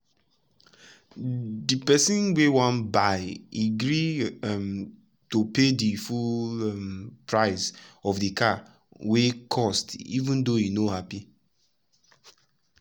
de person wey wan buy e gree um to pay di full um price of de car wey cost even though e no happy.